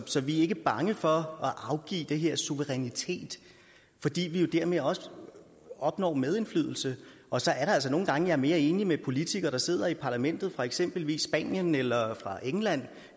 så vi er ikke bange for at afgive den her suverænitet fordi vi jo dermed også opnår medindflydelse og så er der altså nogle gange er mere enig med politikere der sidder i parlamentet fra eksempelvis spanien eller fra england